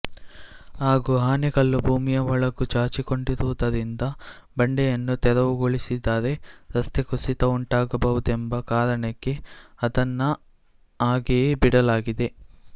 ಹಾಗೂ ಆನೆಕಲ್ಲು ಭೂಮಿಯ ಒಳಗೂ ಚಾಚಿಕೊಂಡಿರುವುದರಿಂದ ಬಂಡೆಯನ್ನು ತೆರವುಗೊಳಿಸಿದರೆ ರಸ್ತೆ ಕುಸಿತ ಉಂಟಾಗಬಹುದೆಂಬ ಕಾರಣಕ್ಕೆ ಅದನ್ನು ಹಾಗೆಯೇ ಬಿಡಲಾಗಿದೆ